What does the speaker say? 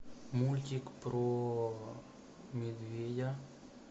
мультик про медведя